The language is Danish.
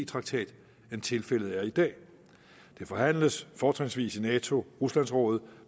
traktat end tilfældet er i dag det forhandles fortrinsvis i nato rusland rådet